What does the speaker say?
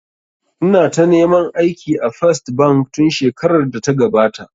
Ina ta neman aiki a First bank tun shekarar da ta gabata